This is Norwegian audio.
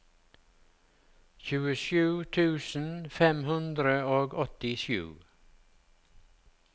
tjuesju tusen fem hundre og åttisju